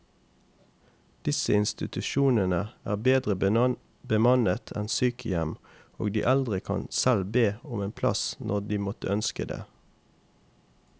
Disse institusjonene er bedre bemannet enn sykehjem, og de eldre kan selv be om en plass når de måtte ønske det.